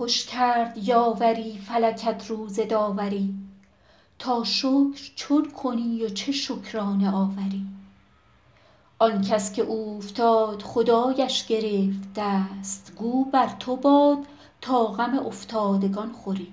خوش کرد یاوری فلکت روز داوری تا شکر چون کنی و چه شکرانه آوری آن کس که اوفتاد خدایش گرفت دست گو بر تو باد تا غم افتادگان خوری